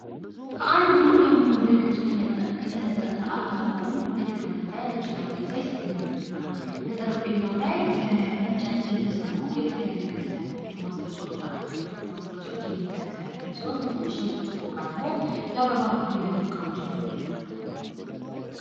ከአንድ ሙሉ በሙሉ በነጭ ከተነጠፈ አልጋ ጎን አንድ የተቀመጠ ነጭ ጠረጴዛ ይመለከታል። በጠረጴዛው ላይ በእንጨት የተሰሩ የተለያየ ቅርጽ ያላቸው ማስጌጫዎች አሉ። ጥቂቶቹ ማስጌጫዎች የልብ ቅርጽ ያላቸው ሲሆን በትንሽየ ብርጭቆ እቃ ደግሞ የአበባ ፍሬ የያዙ እቃዎችን እንመለከታለን።